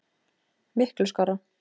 Miklu skárra.